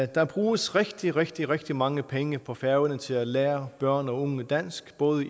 der bruges rigtig rigtig rigtig mange penge på færøerne til at lære børn og unge dansk både